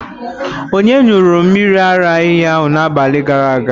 Onye ṅụrụ mmiri ara ehi na n'abali gara aga?